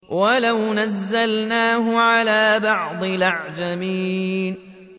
وَلَوْ نَزَّلْنَاهُ عَلَىٰ بَعْضِ الْأَعْجَمِينَ